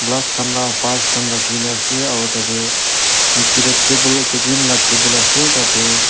Glass kan laga parts kan rakikina ase aro tati nejiteh table ekta green laga table ase tati.